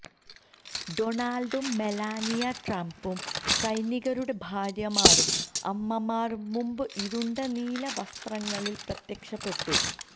ഡൊണാൾഡും Melania ട്രംപും സൈനികരുടെ ഭാര്യമാരും അമ്മമാരും മുമ്പ് ഇരുണ്ട നീല വസ്ത്രങ്ങളിൽ പ്രത്യക്ഷപ്പെട്ടു